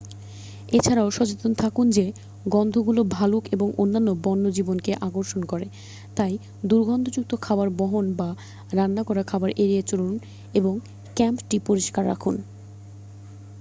এ ছাড়াও সচেতন থাকুন যে গন্ধগুলো ভালুক এবং অন্যান্য বন্যজীবনকে আকর্ষণ করে তাই দুর্গন্ধযুক্ত খাবার বহন বা রান্না করা খাবার এড়িয়ে চলুন এবং ক্যাম্পটি পরিষ্কার রাখুন